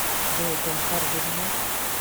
джой том харди женат